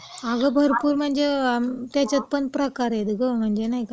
अगं भरपूर म्हणजे, त्याच्यात पण प्रकार आहेत गं, म्हणजे नाही का..